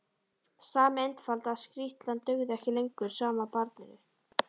Sami einfalda skrýtlan dugði ekki lengur sama barninu.